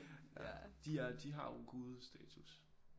Ja de er de har jo gudestatus